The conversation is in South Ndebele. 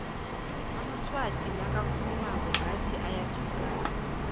amaswati nakakhulumako ngathi ayathukana